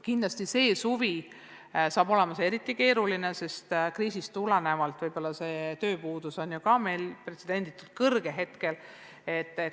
Kindlasti saab see suvi olema eriti keeruline, sest kriisist tulenevalt on meil ka tööpuudus praegu pretsedenditult suur.